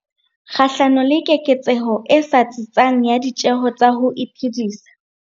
kgahlano le keketseho e sa tsitsang ya ditjeho tsa ho iphedisa.